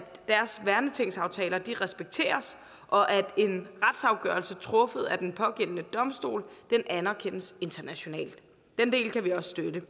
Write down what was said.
deres værnetingsaftaler respekteres og at en retsafgørelse truffet af den pågældende domstol anerkendes internationalt den del kan vi også støtte